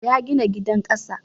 Ya gina gidan ƙasa